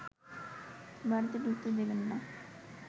বাড়িতে ঢুকতে দেবেন না